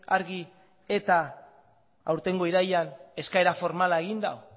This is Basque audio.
argi eta aurtengo irailean eskaera formala egin du